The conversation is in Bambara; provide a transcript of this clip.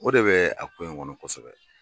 O de bɛ a ko in kɔnɔ kosɛbɛ.